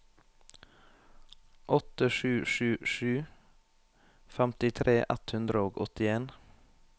åtte sju sju sju femtitre ett hundre og åttien